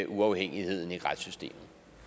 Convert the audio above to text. uafhængigheden i retssystemet